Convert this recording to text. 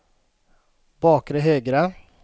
bakre högra